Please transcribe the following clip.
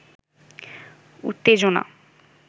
উত্তেজনা